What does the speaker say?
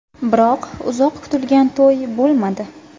Biroq uzoq kutilgan to‘y bo‘lmadi.